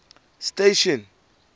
station